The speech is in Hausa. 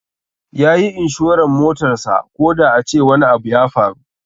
Yayi inshoran motarsa koda a ce wani abu ya faru.